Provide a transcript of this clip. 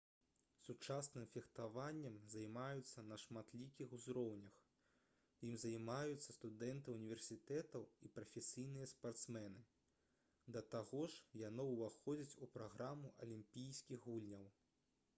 сучасным фехтаваннем займаюцца на шматлікіх узроўнях ім займаюцца студэнты ўніверсітэтаў і прафесійныя спартсмены да таго ж яно ўваходзіць у праграму алімпійскіх гульняў